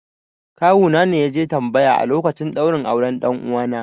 Kawuna ne ya je tambaya a lokacin ɗaurin auren 'ɗan uwana